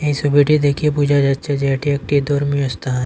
সবিটি দেখে বোঝা যাচ্ছে যে এটি একটি ধর্মীয় স্থান।